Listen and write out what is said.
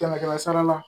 Kɛmɛ kɛmɛ sara la